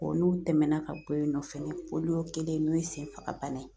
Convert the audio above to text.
n'o tɛmɛna ka bɔ yen nɔ fɛnɛ kelen n'o ye senfaga bana ye